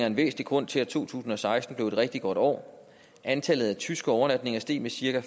en væsentlig grund til at to tusind og seksten blev et rigtig godt år og antallet af tyske overnatninger steg med cirka